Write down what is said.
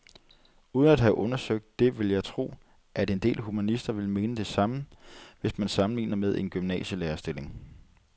Uden at have undersøgt det vil jeg tro, at en del humanister vil mene det samme, hvis man sammenligner med en gymnasielærerstilling.